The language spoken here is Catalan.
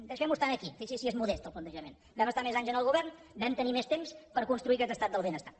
deixem ho estar aquí fixi’s si és modest el plantejament vam estar més anys en el govern vam tenir més temps per construir aquest estat del benestar